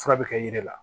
Fura bɛ kɛ yiri la